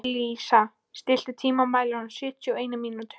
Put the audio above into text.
Elísa, stilltu tímamælinn á sjötíu og eina mínútur.